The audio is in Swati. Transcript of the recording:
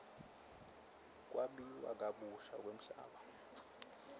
kwabiwa kabusha kwemhlaba